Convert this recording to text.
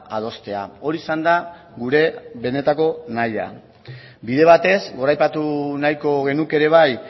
adostea hori izan da gure benetako nahia bide batez goraipatu nahiko genuke ere bai